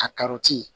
A karɔti